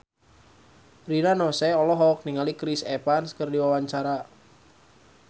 Rina Nose olohok ningali Chris Evans keur diwawancara